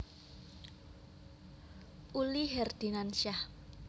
Uli Herdinansyah